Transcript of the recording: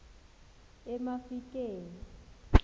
emafikeng